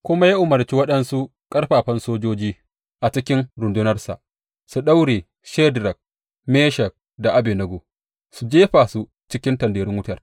Kuma ya umarci waɗansu ƙarfafan sojoji a cikin rundunarsa su daure Shadrak, Meshak da Abednego su jefa su cikin tanderun wutar.